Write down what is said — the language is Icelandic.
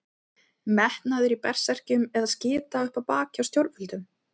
Metnaður í Berserkjum eða skita upp á bak hjá stjórnvöldum?